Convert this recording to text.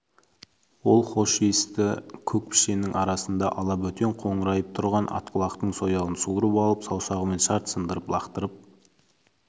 ол хош иісті көк пішеннің арасында ала бөтен қоңырайып тұрған атқұлақтың сояуын суырып алып саусағымен шарт сындырып лақтырып